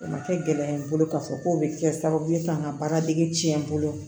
O ma kɛ gɛlɛya ye n bolo k'a fɔ ko o bɛ kɛ sababu ye ka n ka baara dege tiɲɛ n bolo